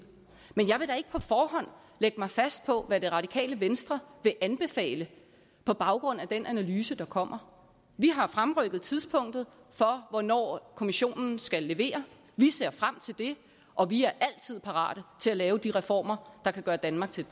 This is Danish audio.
men jeg vil da ikke på forhånd lægge mig fast på hvad det radikale venstre vil anbefale på baggrund af den analyse der kommer vi har fremrykket tidspunktet for hvornår kommissionen skal levere vi ser frem til det og vi er altid parate til at lave de reformer der kan gøre danmark til